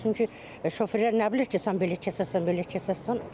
Çünki şoferlər nə bilir ki, sən belə keçərsən, belə keçərsən.